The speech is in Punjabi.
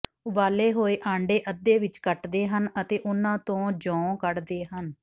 ਉਬਾਲੇ ਹੋਏ ਆਂਡੇ ਅੱਧੇ ਵਿੱਚ ਕੱਟਦੇ ਹਨ ਅਤੇ ਉਨ੍ਹਾਂ ਤੋਂ ਜੌਂ ਕੱਢਦੇ ਹਨ